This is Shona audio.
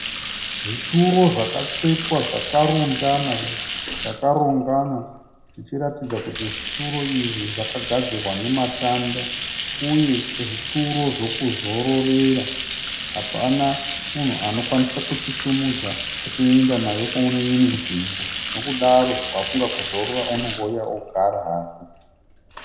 Zvituro zvakatsvetwa zvakarundana zvakarongana zvichiratidza kuti zvituro izvi zvakagadzirwa nematanda uye zvituro zvokuzororera. Hapana munhu anokwanisa kuchisumudza achienda nayo kune imwe nzvimbo nokudaro wafunga kuzorora unongouya ogara hake.